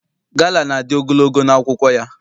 Gala na-adị ogologo n'akwụkwọ ya.